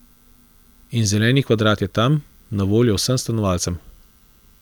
In zeleni kvadrat je tam, na voljo vsem stanovalcem.